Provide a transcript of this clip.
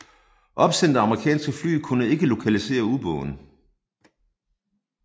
Opsendte amerikanske fly kunne ikke lokalisere ubåden